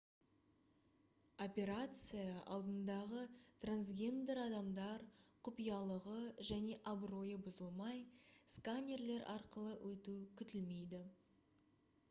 операция алдындағы трансгендер адамдар құпиялығы және абыройы бұзылмай сканерлер арқылы өту күтілмейді